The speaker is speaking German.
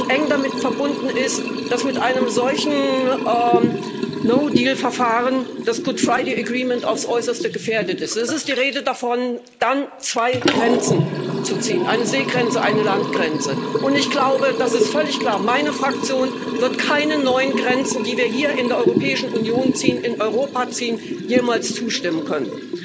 Eng damit verbunden ist, dass mit einem solchen No Deal Verfahren das Good Friday Agreement aufs Äußerste gefährdet ist. Es ist die Rede davon, dann zwei Grenzen zu ziehen eine Seegrenze und eine Landgrenze. Ich glaube, das ist völlig klar Meine Fraktion wird keinen neuen Grenzen, die wir hier in der Europäischen Union in Europa ziehen, jemals zustimmen können.